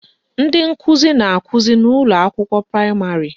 Ndị nkụzi na-akụzi n' ụlọakwụkwọ praịmarị